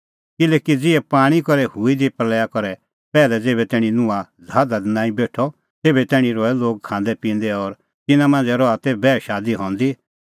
किल्हैकि ज़िहै पाणीं करै हुई दी प्रल़या का पैहलै ज़ेभै तैणीं नूह ज़हाज़ा दी नांईं बेठअ तेभै तैणीं रहै लोग खांदैपिंदै और तिन्नां मांझ़ै रहा ती बैह शादी हंदी